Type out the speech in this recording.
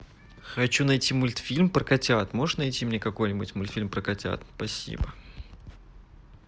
хочу найти мультфильм про котят можешь найти мне какой нибудь мультфильм про котят спасибо